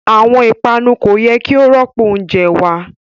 Awọn ipanu ko yẹ ki o rọpo ounjẹ wa